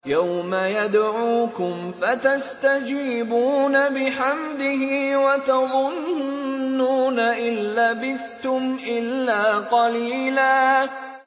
يَوْمَ يَدْعُوكُمْ فَتَسْتَجِيبُونَ بِحَمْدِهِ وَتَظُنُّونَ إِن لَّبِثْتُمْ إِلَّا قَلِيلًا